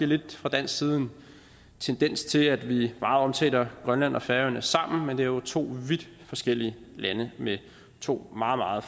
lidt fra dansk side en tendens til at vi meget omtaler grønland og færøerne sammen men det er jo to vidt forskellige lande med to meget